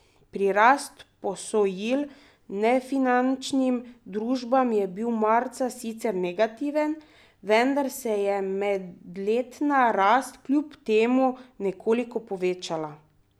Prirast posojil nefinančnim družbam je bil marca sicer negativen, vendar se je medletna rast kljub temu nekoliko povečala.